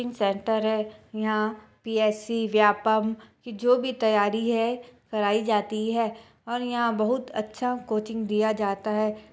Coaching centre है यहाँ PSC Vyapam की जो भी तैयारी है कराई जाती है और यहाँ बहुत अच्छा कोचिंग दिया जाता हैं।